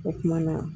O kumana